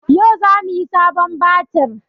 Yau za mu sayi sabon batir